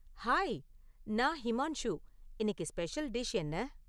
Hi நான் ஹிமான்ஷு இன்னிக்கு special dish என்ன?